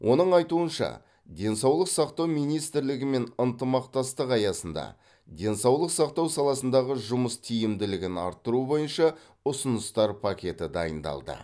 оның айтуынша денсаулық сақтау министрлігімен ынтымақтастық аясында денсаулық сақтау саласындағы жұмыс тиімділігін арттыру бойынша ұсыныстар пакеті дайындалды